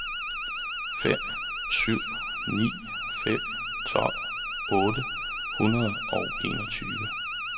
fem syv ni fem tolv otte hundrede og enogtyve